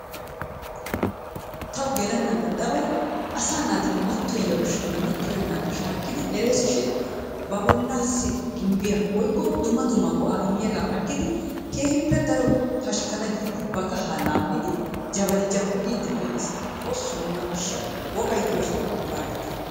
Tawu gelennan ixxabay asaa naati mattoyiya ushshaanne mattoyennagaa shaakkidi ereesishin ba bollaassi gimbbiya woyikko dumma dumma go'aa immiyagaa aggidi keehippe daro pashkkana giidi ba kahaa laammidi jabali jabbi giiddi pee'es. Xoosso nuna ashsha wogay diyosawu kaaletta.